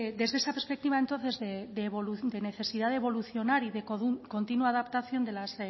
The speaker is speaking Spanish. desde esa perspectiva de necesidad de evolucionar y de continua adaptación de las